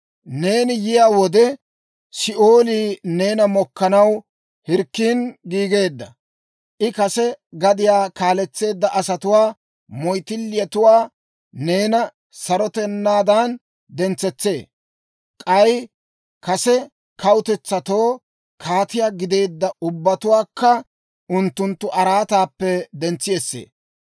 «Neeni yiyaa wode, Si'oolii neena mokkanaw hirkkin giigeedda; I kase gadiyaa kaaletseedda asatuwaa moyttilletuwaa neena sarotanaadan dentsetsee; k'ay kase kawutetsatoo kaatiyaa gideedda ubbatuwaakka unttunttu araataappe dentsi essee.